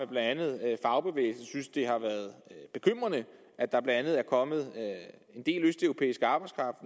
blandt andet fagbevægelsen synes det har været bekymrende at der blandt andet er kommet en del østeuropæisk arbejdskraft